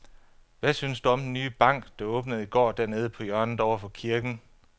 Hvad synes du om den nye bank, der åbnede i går dernede på hjørnet over for kirken?